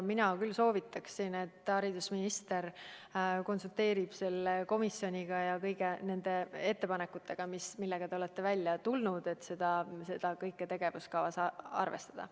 Mina küll soovitaksin, et haridusminister konsulteeriks selle komisjoniga ja kuulaks ettepanekuid, millega te olete välja tulnud, et seda kõike tegevuskavas arvestada.